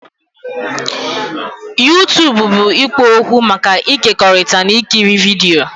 YouTubụ bụ ikpo okwu maka ịkekọrịta na ikiri vidio.